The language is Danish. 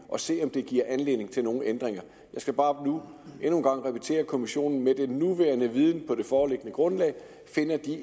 at se om det giver anledning til nogen ændringer jeg skal bare nu endnu en gang repetere at kommissionen med den nuværende viden på det foreliggende grundlag